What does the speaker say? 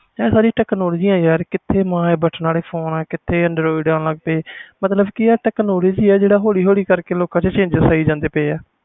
ਇਹ ਸਾਰੀ technology ਯਾਰ ਕਿੱਥੇ ਬਟਨਾ ਵਾਲੇ ਫੋਨ ਸੀ ਕਿਥੇ android ਆਣ ਲਗ ਗਏ ਮਤਬਲ technology ਜਿਹੜਾ ਹੋਲੀ ਹੋਲੀ ਕਰਕੇ ਲੋਕਾਂ ਵਿੱਚ changes ਆਈ ਜਾਂਦੇ ਆ